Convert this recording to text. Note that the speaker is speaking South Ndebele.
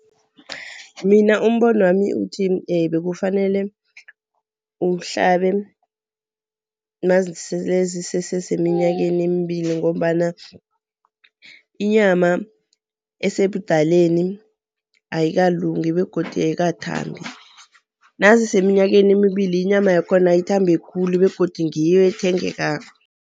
Mina umbonwami uthi bekufanele uhlabe mazisese minyakeni emibili ngombana inyama esebudaleni ayikalungi begodu ayikathambi. Naziseminyakeni emibili inyama yakhona ithambe khulu begodu ngiyo ethengekako.